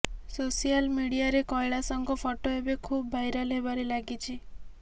social ମିଡିଆରେ କୈଳାଶଙ୍କ photo ଏବେ ଖୁବ୍ ଭାଇରାଲ୍ ହେବାରେ ଲାଗିଛି